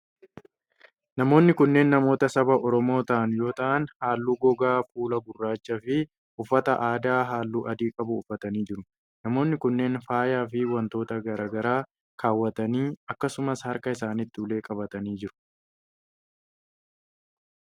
Namoonni kunneen namoota saba Oromoo ta'an yoo ta'an, haalluu gogaa fuulaa gurraacha fi uffata aadaa haalluu adii qabu uffatanii jiru. Namoonni kunneen, faaya fi wantoota garaa garaa kaawwatanii akkasumas harka isaanitti ulee qabatanii jiru.